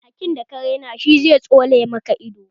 Hakin da ka raina shi zai tsone maka ido